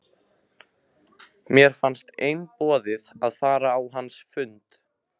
Mér fannst einboðið að fara á hans fund.